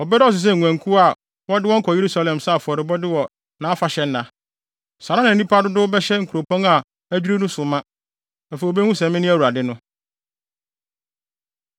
wɔbɛdɔɔso sɛ nguankuw a wɔde wɔn kɔ Yerusalem sɛ afɔrebɔde wɔ nʼafahyɛnna. Saa ara na nnipa dodow bɛhyɛ nkuropɔn a adwiriw no so ma. Afei wobehu sɛ mene Awurade no.”